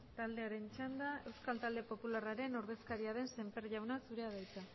taldearen txanda euskal talde popularraren ordezkaria den sémper jauna zurea da hitza